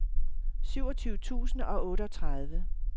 syvogtyve tusind og otteogtredive